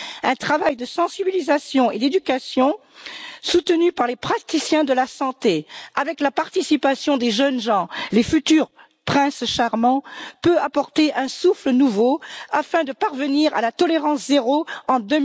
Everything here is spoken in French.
Un travail de sensibilisation et d'éducation, soutenu par les praticiens de la santé, avec la participation des jeunes gens, les futurs princes charmants, peut apporter un souffle nouveau afin de parvenir à la tolérance zéro en